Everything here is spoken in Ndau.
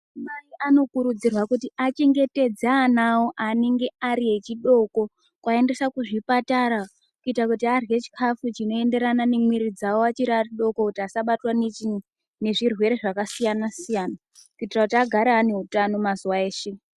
Madzimai anokurudzirwa achengetedze ana awo eudoko kuti aende kuzvipatara kana vachiri vadoko vasabatwa nezvirwere zvakasiyana siyana kuitira agare ane hutano mazuva ese.